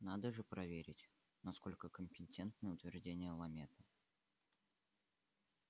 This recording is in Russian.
надо же проверить насколько компетентны утверждения ламета